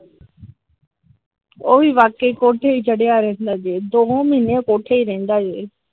ਉਹ ਵੀ ਵਾਕੇ ਕੋਠੇ ਈ ਚੜ੍ਹਿਆ ਰਹਿੰਦੇ ਜੇ ਦੋਹ ਮਹੀਨੇ ਕੋਠੇ ਈ ਰਹਿੰਦਾ ਜੇ ।